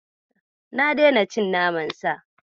Na daina cin naman Sa.